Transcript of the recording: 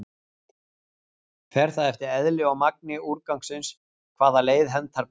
Fer það eftir eðli og magni úrgangsins hvaða leið hentar best.